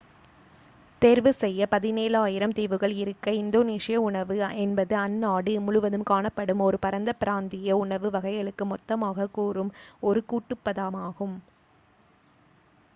தேர்வு செய்ய 17,000 தீவுகள் இருக்க இந்தோனீசிய உணவு என்பது அந்நாடு முழுவதும் காணப்படும் ஒரு பரந்த பிராந்திய உணவு வகைகளுக்கு மொத்தமாகக் கூறும் ஒரு கூட்டுப் பதமாகும்